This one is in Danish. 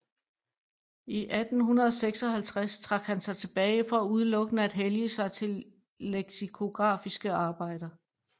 I 1856 trak han sig tilbage for udelukkende at hellige sig til leksikografiske arbejder